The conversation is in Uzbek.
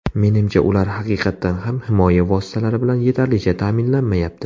Menimcha, ular haqiqatan ham himoya vositalari bilan yetarlicha ta’minlanmayapti.